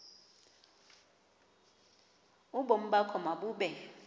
ubomi bakho mabube